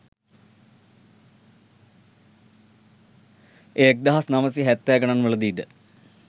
එය එක් දහස් නවසිය හැත්තෑ ගණන්වල දී ද